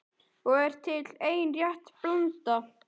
Og er til ein rétt blanda